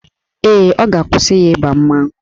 Ee, ọ ga-akwụsị ya ịba mmanwụ